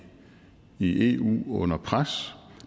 i eu under pres